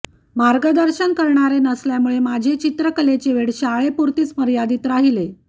मार्गदर्शन करणारे नसल्यामुळे माझे चित्रकलेचे वेड शाळेपुरतीच मर्यादित राहिले